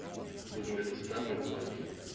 думаю это самое главное